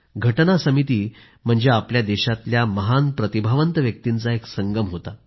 राज्यघटना समिती म्हणजे आपल्या देशातल्या महान प्रतिभावंत व्यक्तींचा एक संगम होता